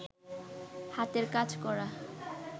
হাতের কাজ করা